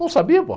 Não sabia, pô